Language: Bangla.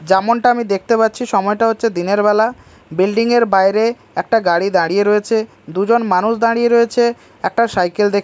যেমনটা আমি দেখতে পাচ্ছি সময়টা হচ্ছে দিনেরবেলা বিল্ডিং -এর বাইরে একটা গাড়ি দাঁড়িয়ে রয়েছে দুজন মানুষ দাঁড়িয়ে রয়েছে একটা সাইকেল দেখ--